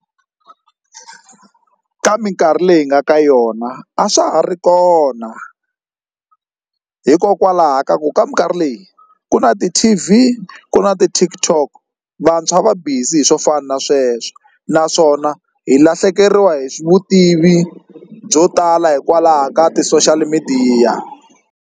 Ka minkarhi leyi hi nga ka yona a swa ha ri kona hikokwalaho ka ku ka minkarhi leyi ku na ti-T_V ku na na ti-TikTok vantshwa va busy hi swo fana na sweswo naswona hi lahlekeriwa hi vutivi byo tala hikwalaho ka ti-social midiya.